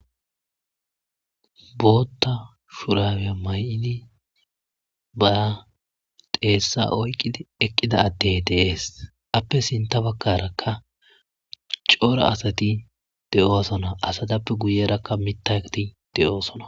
bootta shuraweya may7ini baa deessa oyqqidi eqqida atte deees appe sinta bakkarakka coora asati de7oosona asatappe guyerakka mittaati de7oosona